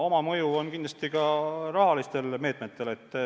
Oma mõju on kindlasti ka rahalistel meetmetel.